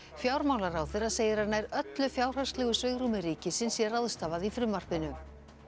fjármálaráðherra segir að nær öllu fjárhagslegu svigrúmi ríkisins sé ráðstafað í frumvarpinu